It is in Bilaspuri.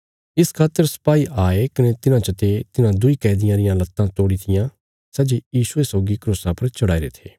इस खातर सिपाई आये कने तिन्हां चते तिन्हां दुईं कैदियां रियां लत्तां तोड़ी तियां सै जे यीशुये सौगी क्रूसा पर चढ़ाईरे थे